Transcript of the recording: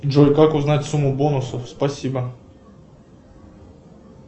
джой как узнать сумму бонусов спасибо